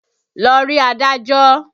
Lọ rí adájọ́!